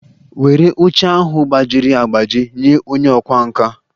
Were oche ahụ gbajiri agbaji nye onye ọkwá nkà!